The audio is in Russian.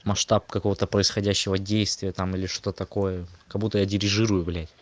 масштаб какого-то происходящего действия там или что такое как будто я дирижирует блядь